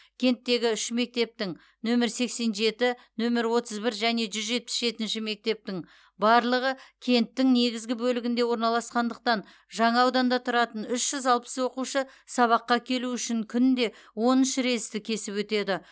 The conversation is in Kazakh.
кенттегі үш мектептің нөмір сексен жеті нөмір отыз бір және жүз жетпіс жетінші мектептің барлығы кенттің негізгі бөлігінде орналасқандықтан жаңа ауданда тұратын үш жүз алпыс оқушы сабаққа келу үшін күнде он үш рельсті кесіп өтеді